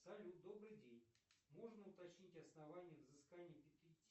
салют добрый день можно уточнить основания взыскания